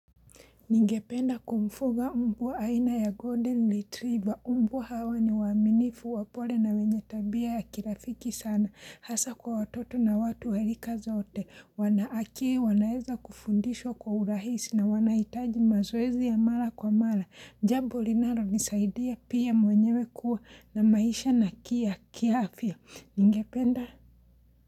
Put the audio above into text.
Ningependa kumfuga mbwa ya aina ya Golden Retriever. Mbwa hawa ni waaminifu wa pole na wenye tabia ya kirafiki sana. Hasa kwa watoto na watu rika zote. Wanawakie, wanaeza kufundishwa kwa urahisi na wanaitaji mazoezi ya mara kwa mara. Jambo linalo nisaidia pia mwenyewe kuwa na maisha na kia kiafya. Ningependa?